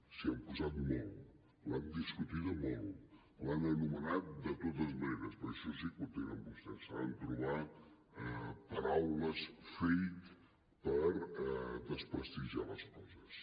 s’hi han posat molt l’han discutida molt l’han anomenat de totes maneres perquè això sí que ho tenen vostès saben trobar paraules fake per desprestigiar les coses